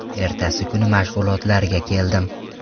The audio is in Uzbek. Ertasi kuni mashg‘ulotlarga keldim.